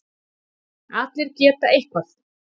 Allir geta eitthvað